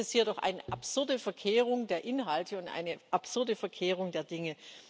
Das ist hier doch eine absurde Verkehrung der Inhalte und eine absurde Verkehrung der Dinge.